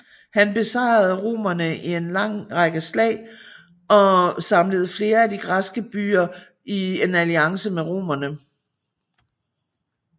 Han besejrede romerne i en række slag og samlede flere af de græske byer i en alliance mod romerne